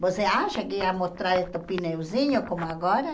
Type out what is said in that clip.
Você acha que ia mostrar esse pneuzinho como agora?